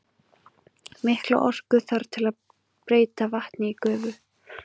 Mikla orku þarf til að breyta vatni í gufu.